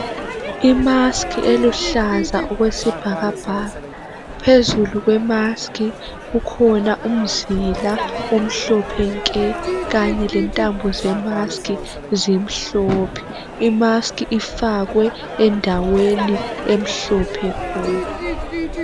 I"mask"eluhlaza okwesibhakabhaka phezulu kwemask kukhona umzila omhlophe nke kanye lentambo ze"mask" zimhlophe.I"mask" ifakwe endaweni emhlophe khona.